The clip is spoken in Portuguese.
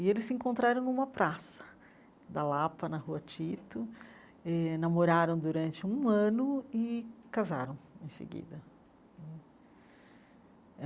E eles se encontraram numa praça da Lapa, na rua Tito, eh namoraram durante um ano e casaram em seguida.